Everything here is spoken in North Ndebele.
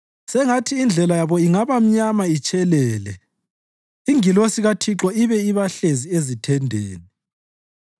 sengathi indlela yabo ingaba mnyama itshelele, ingilosi kaThixo ibe ibahlezi ezithendeni.